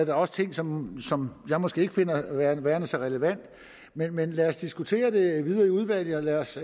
er også ting som som jeg måske ikke finder værende så relevant men men lad os diskutere det videre i udvalget og lad os